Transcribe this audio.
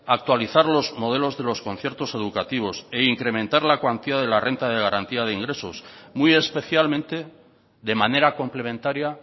actualizar los modelos de los conciertos educativos e incrementar la cuantía de la renta de garantía de ingresos muy especialmente de manera complementaria